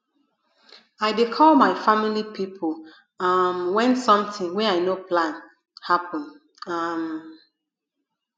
i dey call my family pipo um wen sometin wey i no plan happen um